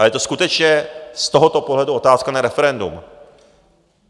A je to skutečně z tohoto pohledu otázka na referendum.